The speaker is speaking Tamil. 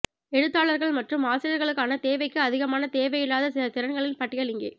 எழுத்தாளர்கள் மற்றும் ஆசிரியர்களுக்கான தேவைக்கு அதிகமான தேவையில்லாத சில திறன்களின் பட்டியல் இங்கே